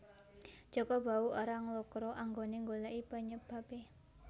Jaka Bahu ora nglokro anggone nggoleki penyebabe